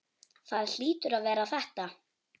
Það hlýtur að vera þetta.